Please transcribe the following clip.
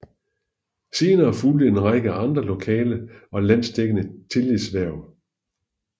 Senere fulgte en række andre lokale og landsdækkende tillidshverv